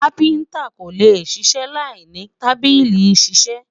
kafinta kò lẹ ṣiṣẹ là ìní tábìlì iṣisẹ